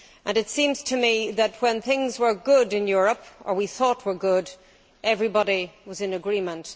It seems to me that when things were good in Europe or we thought they were good everybody was in agreement.